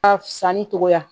Ka sanni togoya